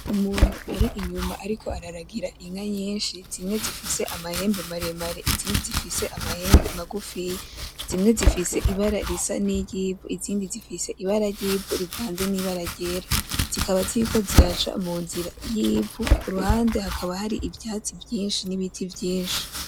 Umuntu ari inyuma ariko araragira inka nyinshi zimwe zifise amahembe maremare izindi zifise amahembe magufiya, zimwe zifise ibara risa niry'ivu izindi zifise ibara ryivu rivanze nibara ryera, zikaba ziriko ziraca munzira yivu kuruhande hakaba hari ivyatsi vyinshi nibiti vyinshi.